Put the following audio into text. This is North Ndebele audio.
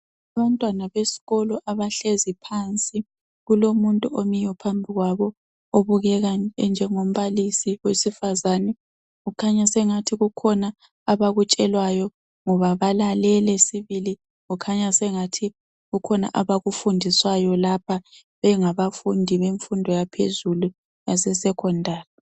Abantwana besikolo abahlezi phansi kulomuntu omiyo phambi kwabo, obukeka enjengombalisi wesifazane kukhanya sengathi kukhona abakutshelwayo ngoba balalele sibili kukhanya sengathi kukhona abakufundiswayo lapha bengabafundi bemfundo yaphezulu yase sekhondali.